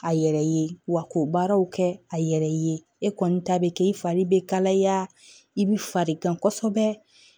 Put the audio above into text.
A yɛrɛ ye wa k'o baaraw kɛ a yɛrɛ ye e kɔni ta bɛ kɛ i fari bɛ kalaya i bɛ farigan kosɛbɛ